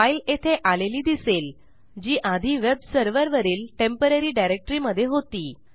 file येथे आलेली दिसेल जी आधी वेब सर्व्हरवरील टेम्पोररी डायरेक्टरी मधे होती